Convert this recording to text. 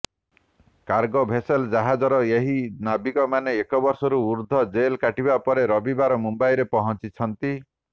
cargo vessel ଜାହାଜର ଏହି ନାବିକମାନେ ଏକ ବର୍ଷରୁ ଊର୍ଧ୍ୱ ଜେଲ୍ କାଟିବା ପରେ ରବିବାର ମୁମ୍ବାଇରେ ପହଞ୍ଚିଛନ୍ତି